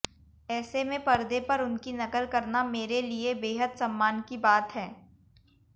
ऐसे में पर्दे पर उनकी नकल करना मेरे लिये बेहद सम्मान की बात है